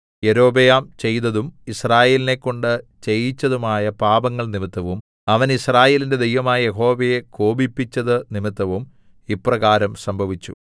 യൊരോബെയാം ചെയ്തതും യിസ്രായേലിനെക്കൊണ്ട് ചെയ്യിച്ചതുമായ പാപങ്ങൾ നിമിത്തവും അവൻ യിസ്രായേലിന്റെ ദൈവമായ യഹോവയെ കോപിപ്പിച്ചതു നിമിത്തവും ഇപ്രകാരം സംഭവിച്ചു